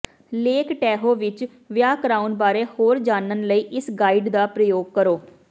lake Tahoe ਵਿਚ ਵਿਆਹ ਕਰਾਉਣ ਬਾਰੇ ਹੋਰ ਜਾਣਨ ਲਈ ਇਸ ਗਾਈਡ ਦਾ ਪ੍ਰਯੋਗ ਕਰੋ